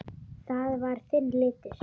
Það var þinn litur.